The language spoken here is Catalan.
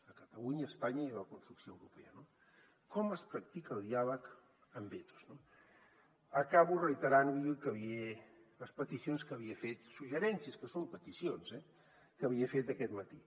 a catalunya a espanya i en la construcció europea no com es practica el diàleg amb vetos acabo reiterant li les peticions que li he fet suggeriments que són peticions eh que li he fet aquest matí